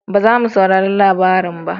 Ba za mu saurari labarin ba